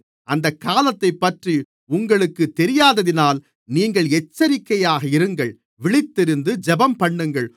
அந்தகாலத்தைப்பற்றி உங்களுக்குத் தெரியாததினால் நீங்கள் எச்சரிக்கையாக இருங்கள் விழித்திருந்து ஜெபம்பண்ணுங்கள்